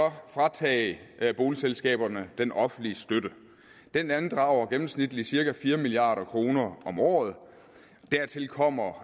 fratage boligselskaberne den offentlige støtte den andrager gennemsnitligt cirka fire milliard kroner om året og dertil kommer